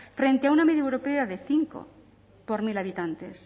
frente a una media europea de cinco por mil habitantes